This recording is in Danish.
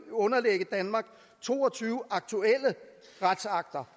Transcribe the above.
at underlægge danmark to og tyve aktuelle retsakter